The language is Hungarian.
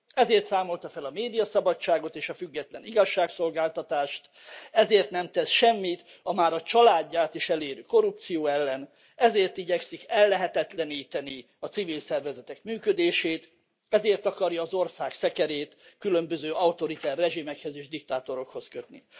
Ezért számolta fel a médiaszabadságot és a független igazságszolgáltatást, ezért nem tesz semmit a már a családját is elérő korrupció ellen, ezért igyekszik ellehetetleníteni a civil szervezetek működését, ezért akarja az ország szekerét különböző autoriter rezsimekhez és diktátorokhoz kötni.